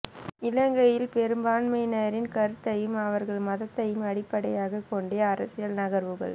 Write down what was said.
இலங்கையில் பெரும்பான்மையினரின் கருத்தையும் அவர்களின் மதத்தையும் அடிப்படையாக கொண்டே அரசியல் நகர்வுகள்